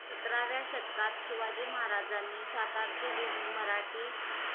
सतराव्या शतकात शिवाजी महाराजांनी सातारची भूमी मराठी